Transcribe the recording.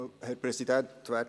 das Wort?